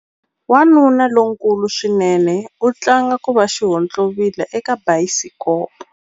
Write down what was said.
Wanuna lonkulu swinene u tlanga ku va xihontlovila eka bayisikopo.